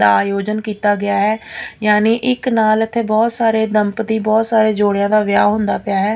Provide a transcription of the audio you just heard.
ਦਾ ਆਯੋਜਨ ਕੀਤਾ ਗਿਆ ਐ ਯਾਨੀ ਇੱਕ ਨਾਲ ਅਤੇ ਬਹੁਤ ਸਾਰੇ ਦਮਪਤੀ ਬਹੁਤ ਸਾਰੇ ਜੋੜਿਆਂ ਦਾ ਵਿਆਹ ਹੁੰਦਾ ਪਿਆ ਹੈ।